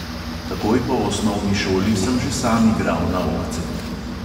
Takoj po osnovni šoli sem že sam igral na ohcetih.